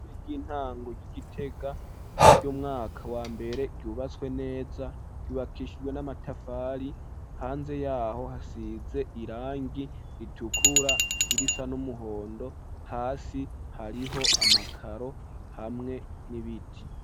Ishure ryibtango ryi Gitega ry'umwaka wa mbere yubatswe neza yubakishijwe n'amatafari hanze yaho hasize irangi ritukura irisa n'umuhondo hasi hariho amakaro hamwe n'ibiti.